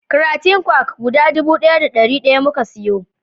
Kratin kwak guda dubu ɗaya da ɗari daya muka siyo